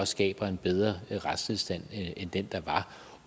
skaber en bedre retstilstand end den der var